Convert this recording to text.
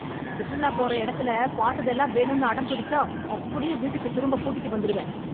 சுற்றுலாப் போற எடத்துல பாத்ததெல்லாம் வேணும்னு அடம் பிடிச்சா அப்படியே வீட்டுக்குத் திரும்ப கூட்டிட்டு வந்துருவேன்.